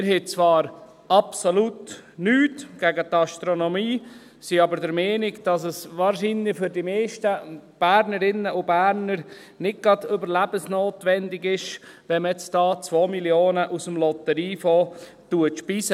Wir haben zwar absolut nichts gegen die Astronomie, sind aber der Meinung, dass es wahrscheinlich für die meisten Bernerinnen und Berner nicht gerade überlebensnotwendig ist, wenn man jetzt 2 Mio. Franken aus dem Lotteriefonds einspeist.